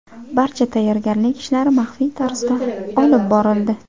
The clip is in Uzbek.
Barcha tayyorgarlik ishlari maxfiy tarzda olib borildi.